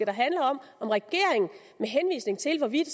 det handler om om regeringen med henvisning til hvorvidt